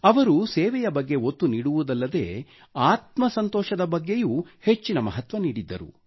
ಅವರು ಸೇವೆಯ ಬಗ್ಗೆ ಒತ್ತು ನೀಡುವುದಲ್ಲದೇ ಆತ್ಮ ಸಂತೋಷದ ಬಗ್ಗೆಯೂ ಹೆಚ್ಚಿನ ಮಹತ್ವ ನೀಡಿದ್ದರು